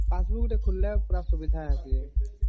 passbook ଟେ ଖୋଲିଦେବା ପୁରା ସୁବିଧା ଅଛି